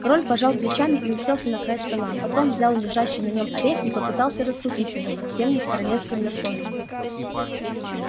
король пожал плечами и уселся на край стола потом взял лежащий на нем орех и попытался раскусить его совсем не с королевским достоинством